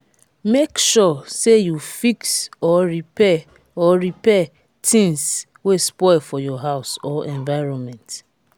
make sure say you fix or repair or repair things wey spoil for your house or environment